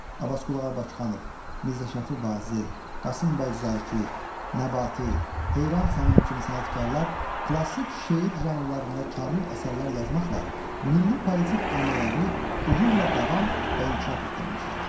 Abbasqulağa Bakıxanov, Mirzə Şəfi Vazeh, Qasımbəy Zakir, Nəbati, Heyran xanım kimi sənətkarlar klassik şeir janrlarında kamil əsərlər yazmaqla milli poetik ənənələri uğurla davam və inkişaf etdirmişlər.